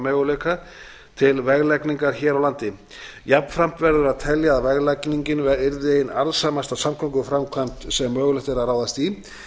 möguleika til veglagningar hér á landi jafnframt verður að telja að veglagningin yrði ein arðsamasta samgönguframkvæmd sem mögulegt er að ráðast í